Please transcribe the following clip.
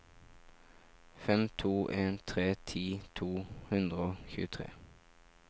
fem to en tre ti to hundre og tjuetre